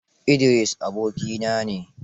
Idris abokina ne.